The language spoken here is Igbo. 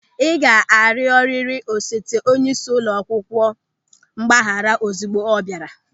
Ị ga-arịọrịrị osote onyeisi ụlọ akwụkwọ mgbaghara ozigbo ọ bịara!